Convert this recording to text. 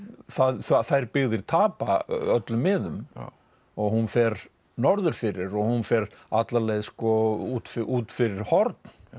þær byggðir tapa öllum miðum og hún fer norður fyrir og hún fer alla leið út út fyrir Horn